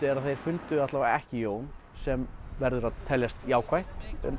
er að þeir fundu allavega ekki Jón sem verður að teljast jákvætt